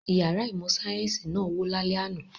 Ìyàrá ìmọ̀-sáyẹ́ńsì náà wó lálẹ́ àná.